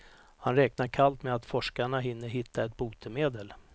Han räknar kallt med att forskarna hinner hitta ett botemedel.